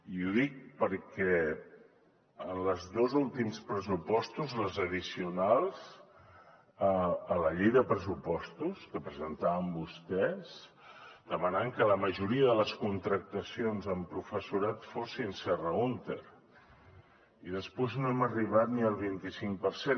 i ho dic perquè en els dos últims pressupostos les addicionals a la llei de pressupostos que presentaven vostès demanaven que la majoria de les contractacions amb professorat fossin serra húnter i després no hem arribat ni al vint i cinc per cent